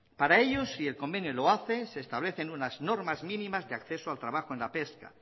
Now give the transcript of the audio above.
para ellos y el convenio lo hace se establecen unas normas mínimas de acceso al trabajo en la pesca